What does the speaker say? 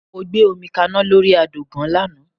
Mo gbé omi kaná lórí àdògán lánàá